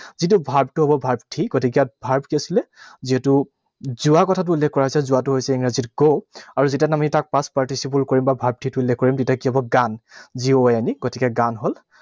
যিটো verb টো হব verb three, গতিকে verb কি আছিলে? যিহেতু যোৱা কথাটো উল্লেখ কৰা হৈছে। যোৱাটো হৈছে ইংৰাজীত go, আৰু যেতিয়া আমি তাক past participle কৰিম, বা verb three টো উল্লেখ কৰিম, তেতিয়া কি হব? Gone, G O N E, গতিকে gone হল।